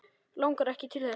Langar ekki til þess.